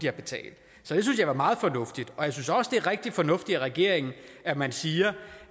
har betalt så det synes jeg er meget fornuftigt jeg synes også det er rigtig fornuftigt af regeringen at man siger